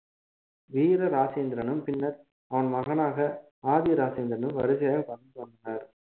வீர ராஜேந்திரனும் பின்னர் அவன் மகனாக ஆதி ராஜேந்திரனும் வருக வந்து~ வந்தனர்